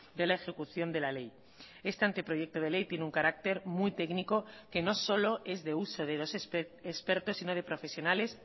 de la ejecución de la ley este anteproyecto de ley tiene un carácter muy técnico que no solo es de uso de los expertos si no de profesionales